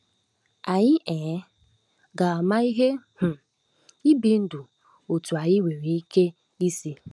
Anyị um ga-ama ihe um ibi ndụ otú anyị nwere ike isi.